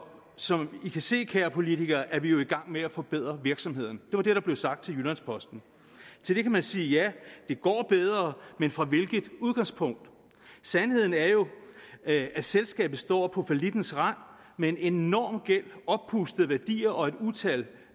som i kan se kære politikere er vi jo i gang med at forbedre virksomheden var det der blev sagt til jyllands posten til det kan man sige ja det går bedre men fra hvilket udgangspunkt sandheden er jo at selskabet står på fallittens rand med en enorm gæld oppustede værdier og et utal